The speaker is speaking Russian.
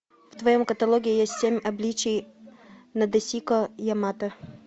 в твоем каталоге есть семь обличий надэсико ямато